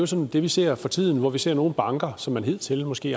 som vi ser for tiden altså at vi ser nogle banker som man hidtil måske